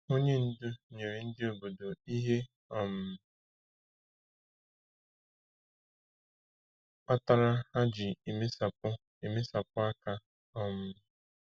Onye ndu nyere ndị obodo ihe um kpatara ha ji emesapụ emesapụ aka. um